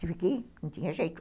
Tive que ir, não tinha jeito.